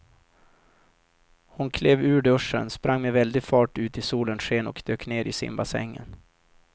Hon klev ur duschen, sprang med väldig fart ut i solens sken och dök ner i simbassängen.